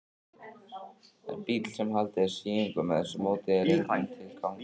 En bíll, sem haldið er síungum með þessu móti, er engum til gagns.